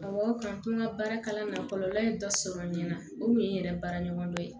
Awɔ k'an to n ka baara kalan na kɔlɔlɔ in dɔ sɔrɔ n ɲɛna o kun ye n yɛrɛ baaraɲɔgɔndɔ ye